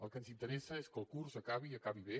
el que ens interessa és que el curs acabi i acabi bé